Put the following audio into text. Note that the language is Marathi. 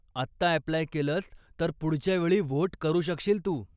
आत्ता अप्लाय केलंस, तर पुढच्या वेळी व्होट करू शकशील तू.